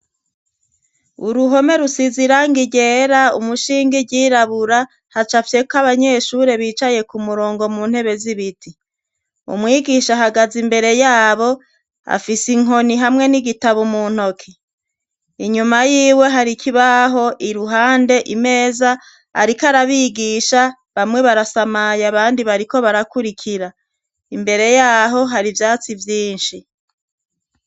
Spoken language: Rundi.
Uruhome rusiza iranga igera umushingi ryirabura haca fyeko abanyeshure bicaye ku murongo mu ntebe z'ibiti umwigisha ahagaze imbere yabo afise inkoni hamwe n'igitabo mu ntoke inyuma yiwe hariko ibaho i ruhande imeza, ariko arabie bigisha bamwe barasamaye abandi bariko barakurikira imbere yaho hari ivyatsi vyinshi.